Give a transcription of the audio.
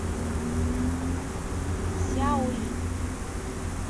сяои